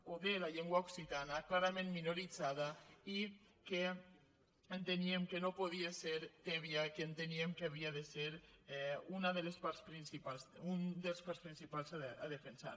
o de la llengua occitana cla·rament minoritzada i que enteníem que no podia ser tèbia que enteníem que havia de ser una de les parts principals a defensar